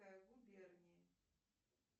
губернии